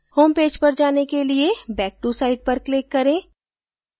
homepage पर जाने के लिए back to site पर click करें